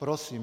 Prosím.